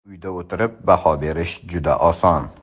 Uyda o‘tirib baho berish juda oson.